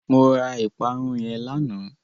Mo ra ìparun yẹn lánàá.